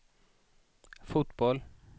fotboll